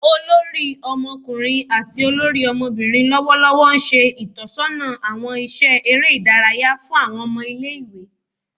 olori Ọmọkunrin ati olori ọmọbirin lọwọlọwọ nṣe itọsọna awọn iṣẹ ere idaraya fun awọn ọmọ ile-iwe